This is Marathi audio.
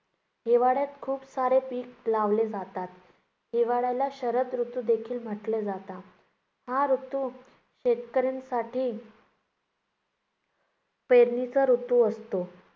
हिवाळ्यात खूप सारे पीक लावले जातात. हिवाळ्याला शरद ऋतूदेखील म्हटले जाते. हा ऋतू शेतकऱ्यांसाठी पेरणीचा ऋतू् असतो.